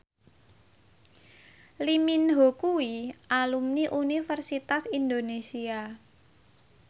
Lee Min Ho kuwi alumni Universitas Indonesia